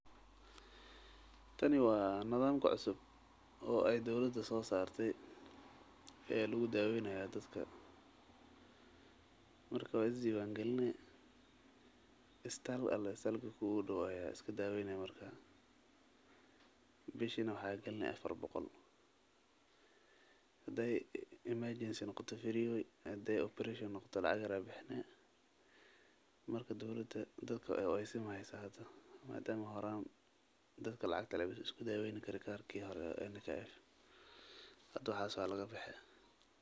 Tani waa nadamka cusub oo dowlada soo saarte oo lagu daweynayo dadka waa is diiwan galini isbitalka kugu dow ayaa iska daweyni lacag afar boqol bes ayaa galineysa bishi.